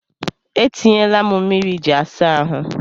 E tinyela m mmiri iji asa ahụ.